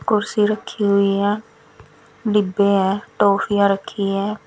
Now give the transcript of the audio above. कुर्सी रखी हुई है डिब्बे हैं टोफियां रखी है।